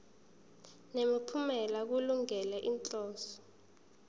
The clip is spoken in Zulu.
nemiphumela kulungele inhloso